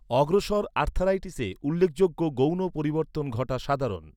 অগ্রসর আর্থ্রাইটিসে উল্লেখযোগ্য গৌণ পরিবর্তন ঘটা সাধারণ।